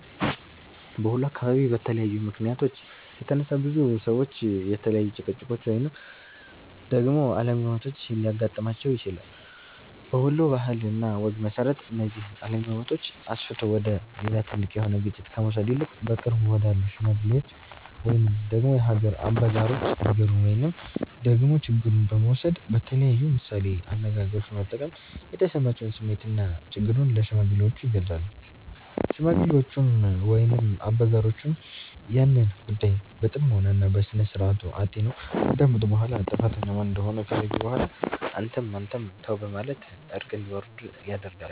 በወሎ አካባቢ በተለያዩ ምክንያቶች የተነሳ፤ ብዙ ሰዎች የተለያዩ ጭቅጭቆች ወይንም ደግሞ አለመግባባቶች ሊያገጥማቸው ይችላል። በወሎ ባህል እና ወግ መሰረት፤ እነዚህን አለመግባባቶች አስፍቶ ወደ ሌላ ትልቅ የሆነ ግጭት ከመውሰድ ይልቅ በቅርብ ወዳሉ ሽማግሎች ወይንም ደግሞ የሀገር አበጋሮች ነገሩን ወይንም ደግሞ ችግሩን በመውሰድ በተለያዩ ምሳሌ አነጋገሮች በመጠቀም የተሰማቸውን ስሜትና ችግሩን ለሽማግሌዎቹ ይገልፃሉ። ሽማግሌዎቹም ወይንም አበጋሮቹም ያንን ጉዳይ በጥሞና እና በስነስርዓቱ አጢነው ካዳመጡ በኋላ ጥፋተኛው ማን እንደሆነ ከለዩ በኋላ አንተም አንተም ተው በማለት እርቅ እንዲወርድ ያደርጋሉ።